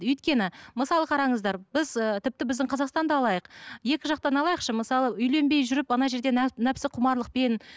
өйткені мысалы қараңыздар біз ы тіпті біздің қазақстанды алайық екі жақтан алайықшы мысалы үйленбей жүріп ана жерде нәпсіқұмарлықпен